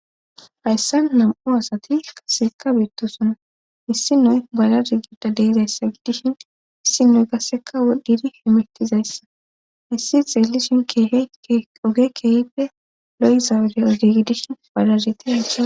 Hayssa nam7u asati kasseka beittosona issi noy badar gida deizayssa gidishin issi noy kasseka wodhdhidi hemetizayssa issi xeelishin keehe oge keehippe lo'izawudie ogi gidishin balaziti ca..